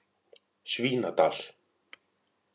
Svínadal